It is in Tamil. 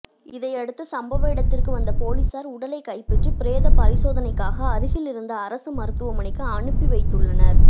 இதையடுத்து சம்பவ இடத்திற்கு வந்த போலிஸார் உடலைக் கைப்பற்றி பிரேத பரிசோதனைக்காக அருகில் இருந்த அரசு மருத்துவமனைக்கு அனுப்பி வைத்துள்ளனர்